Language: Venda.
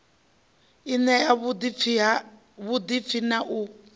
i ṋea vhuḓipfi na u